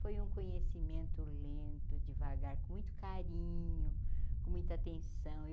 Foi um conhecimento lento, devagar, com muito carinho, com muita atenção. Eu